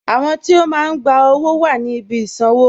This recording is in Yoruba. Àwọn tí o máa n gbà owó wà ní ìbí ìṣanwọ̀